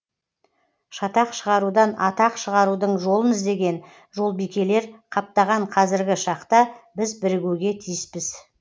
шатақ шығарудан атақ шығарудың жолын іздеген жолбикелер қаптаған қазіргі шақта біз бірігуге тиіспіз